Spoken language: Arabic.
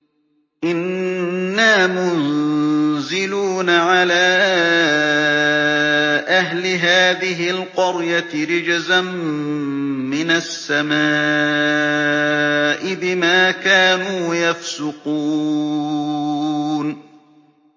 إِنَّا مُنزِلُونَ عَلَىٰ أَهْلِ هَٰذِهِ الْقَرْيَةِ رِجْزًا مِّنَ السَّمَاءِ بِمَا كَانُوا يَفْسُقُونَ